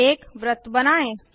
एक वृत्त बनाएँ